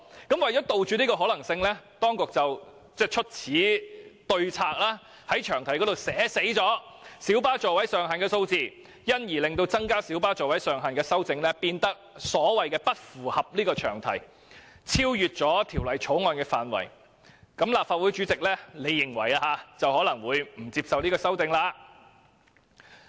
因此，為了杜絕這個可能性，當局唯有在詳題寫明小巴座位上限的數字，令增加小巴座位上限的修正案變成不符合詳題，因而超出《條例草案》的涵蓋範圍，這樣立法會主席便可以不接受提出有關的修正案。